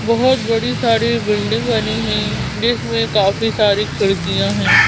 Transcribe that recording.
बहुत बड़ी सारी बिल्डिंग बनी हैं जिसमें काफी सारी खिड़कियाँ हैं।